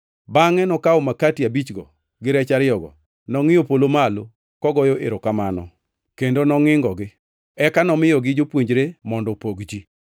Bangʼe nokawo makati abichgo gi rech ariyogo nongʼiyo polo malo, kogoyo erokamano kendo nongʼingogi. Eka nomiyogi jopuonjre mondo opog ji.